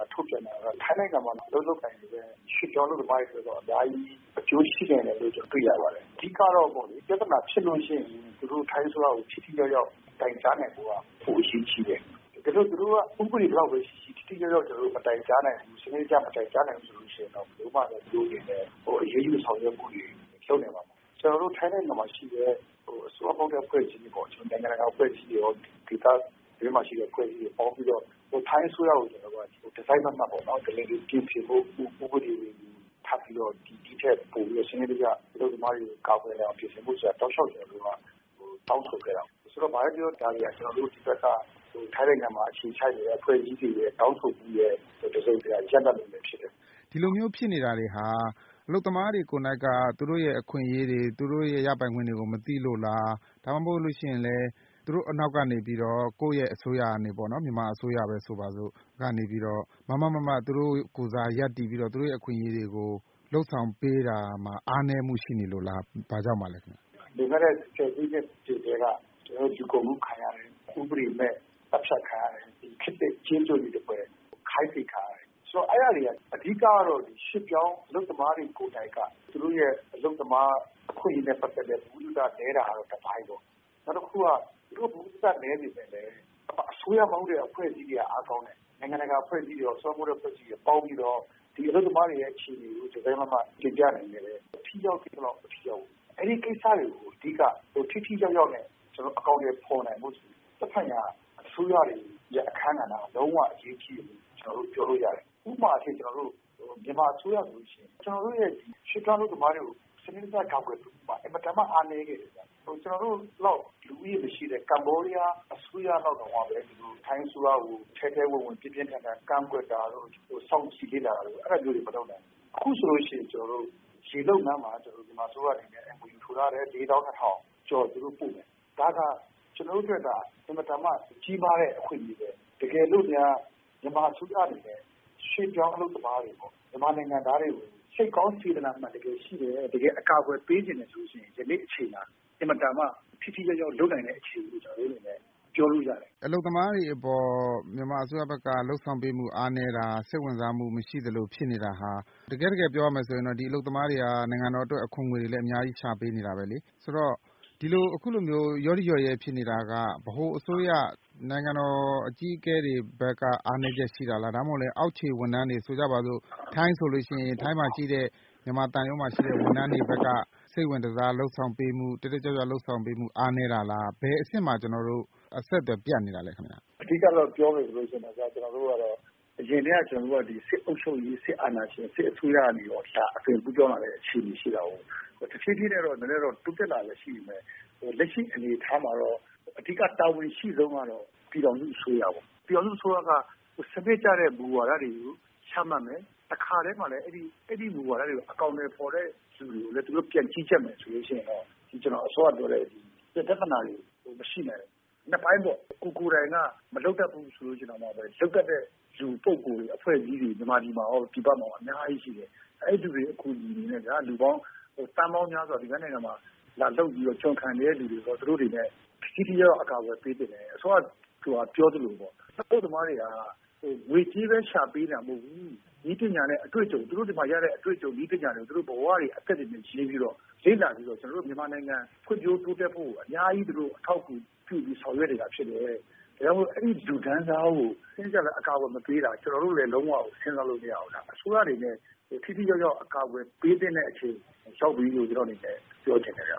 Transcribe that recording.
ာထုတ်ပြန်တာက ထိုင်းနိုင်ငံမှာ အလုပ်လုပ်ကိုင် နေတဲ့ ရွှေ့ပြောင်းအလုပ်သမားတွေအတွက် အများကြီး အကျိုးရှိနိုင်တယ်လို့ ကျနော်တွေ့ရပါတယ်။ အဓိကတော့ ပြဿနာဖြစ်ရင် ထိုင်းအစိုးရကို ထိထိရောက်ရောက်တိုင်ကြားနိုင်ဖို့က ပိုအရေးကြီးတယ်။ ဥပဒေဘယ်လောက်ပဲရှိရှိ ထိထိရောက်ရောက် မတိုင်ကြားနိုင်ဘူးဆိုရင် ဘယ်လိုမှ သူတို့အနေနဲ့ အရေးယူဆောင်ရွက်နိုင်မှာမဟုတ်ဘူး။ ကျနော်တို့ထိုင်းနိုင်ငံမှာ ရှိတဲ့ အစိုးရမဟုတ်တဲ့ အဖွဲ့တွေ၊ နိုင်ငံတကာ အဖွဲ့အစည်းတွေရော ဒေသအတွင်းမှာရှိတဲ့ အဖွဲ့အစည်းတွေရော ပေါင်းပြီးတော့ ထိုင်းအစိုးရကို တစိတ်မတ်မတ် ပြင်ဆင်ဖို့ ၊ ဥပဒေတွေကို ဒီထက်ပိုပြီးတော့ အလုပ်သမားတွေကို စနစ်တကျ ကာကွယ်နိုင်အောင် ပြင်ဆင်ဖို့ တောက်လျောက်ကျနော်တို့ တောင်းဆိုခဲ့ပါတယ်။ ဆိုတော့ ဘာပဲပြောပြော ဒီဘက်က ထိုင်းနိုင်ငံမှာ အခြေချနေတဲ့ အဖွဲ့အစည်းတွေရဲ့ တောင်းဆိုမှုရဲ့ တစုံတရာ ရလဒ်လည်းဖြစ်တယ်။ ဒီလိုမျိုးဖြစ်နေတာတွေဟာ အလုပ်သမားတွေကိုယ်က သူတို့အခွင့်အရေးတွေ ရပိုင်ခွင့်တွေ မသိလို့လား ၊ ဒါမှမဟုတ် သူတို့နောက်ကနေပြီးတော့ မြန်မာအစိုးရက မားမားမတ်မတ် သူတို့ကိုယ်စားရပ်တည်ပြီးတော့ သူတို့အခွင့်အရေးတွေမှာ လုပ်ဆောင်ပေးတာမှာ အားနည်းမှုရှိနေလို့လား ဘာကြောင့်ပါလဲ။ လွန်ခဲ့တဲ့ ဆယ်စုနှစ်အချိန်ကတည်းက လူကုန်ကူးခံရတယ်၊ ဥပဒေမဲ့ သတ်ဖြတ်ခံရတယ်။ ဒီခေတ်သစ်ကျေးကျွန်တွေသဖွယ် ခိုင်းစေခံရတယ်။ ဒါတွေက အဓိကတော့ ရွှေ့ပြောင်းအလုပ်သမားတွေ ကိုယ်တိုင်က သူတို့အလုပ်သမား အခွင့်အရေးတွေနဲ့ ပတ်သက်ပြီး ဗဟုသုတနည်းတာက တပိုင်းပေါ့နော် ။ နောက်တခုက သူတို့ ဗဟုသုတနည်းပေမယ့် အစိုးရမဟုတ်တဲ့ အဖွဲ့အစည်းတွေက အားကောင်းတယ်။ နိုင်ငံတကာ အဖွဲ့အစည်းတွေရော အစိုးရမဟုတ်တဲ့ အဖွဲ့အစည်းတွေရော ပေါင်းပြီးတော့ ဒီအလုပ်သမားတွေအခြေအနေကို တစိတ်မတ်မတ်တင်ပြနိုင်ခဲ့တယ်။ ထိရောက်သင့်သလောက် မထိရောက်ဘူး။ အဲဒီကိစ္စတွေကို ထိထိရောက်ရောက်နဲ့ အကောင်အထည်ဖော်နိုင်ဖို့ဆိုရင် သက်ဆိုင်ရာ အစိုးရတွေရဲ့ အခန်းကဏ္ဍက လုံးဝအရေးကြီးပါတယ်။ ဥပမာအားဖြင့် - မြန်မာအစိုးရဆိုရင် ကျနော်တို့ရဲ့ ရွှေ့ပြောင်း အလုပ်သမားတွေကို စနစ်တကျ ကာကွယ်ပေးရာမှာ အင်မတန်မှ အားနည်းခဲ့တယ်ခင်ဗျ။ ကျနော်တို့လောက် လူဦးရေမရှိတဲ့ Cambodia အစိုးရလောက်တောင်မှ ထိုင်းအစိုးရကို ထဲထဲဝင်ဝင် ပြင်းပြင်းထန်ထန် ကန့်ကွက်တာတို့ စောင့်ကြည့်လေ့လာတာတို့ အဲဒါမျိုးတွေ မလုပ်နိုင်ဘူး။ အခုဆိုရင် ရေလုပ်ငန်းမှာ မြန်မာအစိုးရအနေနဲ့ MOU ထိုးထားတယ် လေးသောင်းနှစ်ထောင်ကျော်သူတို့ပို့မယ်။ ဒါဟာ ကျနော်တို့အတွက် အင်မတန်မှကြီးမားတဲ့ အခွင့်အရေးပဲ။ တကယ်လို့များ မြန်မာအစိုးရအနေနဲ့ ရွှေ့ပြောင်းအလုပ်သမားတွေ မြန်မာနိုင်ငံသားတွေကို စိတ်ကောင်းစေတနာမှန်ရှိတယ် တကယ်အကာအကွယ်ပေးချင်တယ်ဆိုရင် ယနေ့အချိန်မှာ အင်မတန်မှ ထိထိရောက်ရောက်လုပ်နိုင်တဲ့အခြေအနေကို ပြောလို့ရတယ်။ အလုပ်သမားတွေအပေါ် မြန်မာအစိုးရဘက်က လုပ်ဆောင်ပေးမှု အားနည်းတာ ၊ စိတ်ဝင်စားမှုမရှိတာမျိုးဖြစ်နေတယ်ဆိုတာ တကယ့်တကယ်ပြောရမယ်ဆိုရင် ဒီအလုပ်သမားတွေက နိုင်ငံတော်အတွက် အခွန်ငွေအများကြီးလည်း ရှာပေးနေတာပဲလေ။ ဒီလိုမျိုး လျော့ရိလျော့ရဲ ဖြစ်နေတာက ဗဟိုအစိုးရ နိုင်ငံတော်အကြီးအကဲတွေဘက်က အားနည်းချက်ရှိတာလား ဒါမှမဟုတ် အောက်ခြေဝန်ထမ်းတွေ ၊ ထိုင်းဆိုရင်လည်း အဲဒီမှာရှိတဲ့ မြန်မာသံရုံးဝန်ထမ်းတွေဘက်က စိတ်ဝင်တစား လုပ်ဆောင်ပေးမှု အားနည်းတာလား ဘယ်အဆင့်မှာ ကျနော်တို့ အဆက်အသွယ်ပြတ်နေတာလဲ ခင်ဗျ။ အဓိကပြောမယ်ဆိုရင် အရင်က ကျနော်တို့ စစ်အုပ်ချုပ်ရေး စစ်အာဏာရှင် စစ်အစိုးရကနေပြီးတော့ ဒါက အသွင်ကူးပြောင်းလာတဲ့ အခြေအနေရှိတာကို တဖြေးဖြေးနဲ့ နည်းနည်းတော့ တိုးတက်လာတာတွေရှိပေမယ့် လက်ရှိအနေအထားမှာတော့ အဓိက တာဝန်အရှိဆုံးကတော့ ပြည်ထောင်စုအစိုးရပေါ့ ။ ပြည်ထောင်စုအစိုးရက စနစ်ကျတဲ့ မူဝါဒတွေ ချမှတ်မယ် တခါတည်းမှာ အဲဒီမူဝါဒတွေကို အကောင်အထည်ဖော်တဲ့လူတွေကို ပြန်ကြီးကြပ်မယ်ဆိုရင် ကျနော်အစောကပြောတဲ့ ပြဿနာတွေ မရှိနိုင်ဘူး။ ၂ ပိုင်းပေါ့ ကိုယ်တိုင်က မလုပ်တတ်ဘူးဆိုတဲ့နေရာမှာ လုပ်တတ်တဲ့ လူပုဂ္ဂိုလ် တွေ ၊ အဖွဲ့အစည်းတွေ မြန်မာပြည်မှာရော ပြည်ပမှာရော အများကြီးရှိတယ်။ အဲဒီလူတွေ အကူအညီနဲ့ လူပေါင်း သန်းပေါင်းများစွာ သူများနိုင်ငံမှာ လာလုပ်ပြီးတော့ ကျွန်ခံနေတဲ့လူတွေကို သူတို့တွေအနေနဲ့ ထိထိရောက်ရောက် အကာအကွယ် ပေးသင့်တယ်။ အစောကပြောသလိုပေါ့ အလုပ်သမားတွေက ငွေကြေးပဲရှာပေးနေတာမဟုတ်ဘူး နည်းပညာနဲ့ ဒီမှာရတာတွေကို အတွေ့အကြုံ တွေက သူတို့ ဘဝတွေ ၊ အသက်တွေနဲ့ ရင်းပြီးတော့ လေ့လာပြီးတော့ ကျနော်တို့ မြန်မာနိုင်ငံ ဖွံ့ဖြိုးတိုးတက်ဖို့ကို အများကြီး သူတို့အထောက်အကူ ပြုဆောင်ရွက်နေတာဖြစ်တယ်။ ဒါကြောင့် အဲဒီလူတန်းစားကို စနစ်တကျ အကာအကွယ်မပေးတာ ကျနော်တို့ လည်း လုံးဝစဉ်းစားလို့မရဘူး ။ အစိုးရအနေနဲ့ ထိထိရောက်ရောက် အကာအကွယ်ပေးသင့်တဲ့ အချိန်ရောက်ပြီလို့ ပြောချင်ပါတယ်